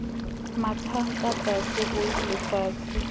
mathang ka tlase ho lefatshe